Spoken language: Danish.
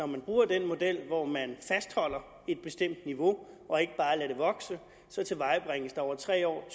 man bruger den model hvor man fastholder et bestemt niveau og ikke bare lader det vokse over tre år